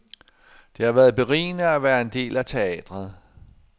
Det har været berigende at være en del af teatret.